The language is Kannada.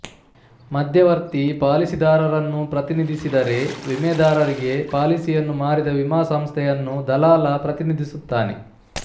ಮಧ್ಯವರ್ತಿ ಪಾಲಿಸಿದಾರರನ್ನು ಪ್ರತಿನಿಧಿಸಿದರೆವಿಮೆದಾರರಿಗೆ ಪಾಲಿಸಿಯನ್ನು ಮಾರಿದ ವಿಮಾ ಸಂಸ್ಥೆಯನ್ನು ದಲಾಲ ಪ್ರತಿನಿಧಿಸುತ್ತಾನೆ